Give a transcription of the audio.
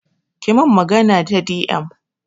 ki min magana ta di em